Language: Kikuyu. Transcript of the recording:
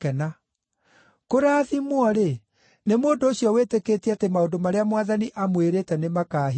Kũrathimwo-rĩ, nĩ mũndũ ũcio wĩtĩkĩtie atĩ maũndũ marĩa Mwathani amwĩrĩte nĩmakahingio!”